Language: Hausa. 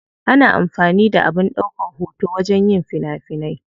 Ana amfani da abin daukan hoto wajen yin fina finai.